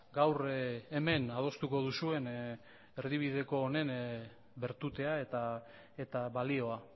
gaur hemen adostuko duzuen erdibideko honen bertutea eta balioa